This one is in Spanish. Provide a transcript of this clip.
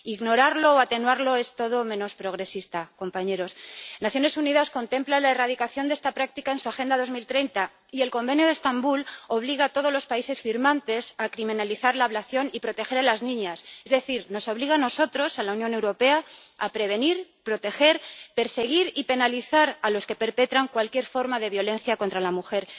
Ignorarlo o atenuarlo es todo menos progresista, compañeros. Las Naciones Unidas contemplan la erradicación de esta práctica en su Agenda 2030 y el Convenio de Estambul obliga a todos los países firmantes a criminalizar la ablación y proteger a las niñas, es decir, nos obliga a nosotros, a la Unión Europea, a prevenir y proteger y a perseguir y penalizar a los que perpetran cualquier forma de violencia contra la mujer.